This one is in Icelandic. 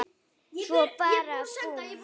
Svo bara búmm.